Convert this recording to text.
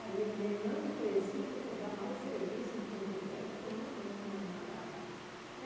Aí eu falei, não precisa pegar mais serviço em Porto Velho porque eu não aguento mais malária.